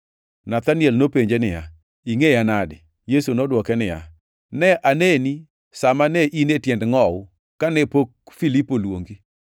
Nathaniel nopenje niya, “Ingʼeya nade?” Yesu nodwoke niya, “Ne aneni sa ma ne in e tiend ngʼowu, kane pok Filipo oluongi.”